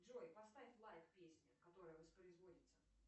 джой поставь лайк песне которая воспроизводится